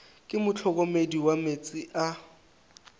ke mohlokomedi wa meetse a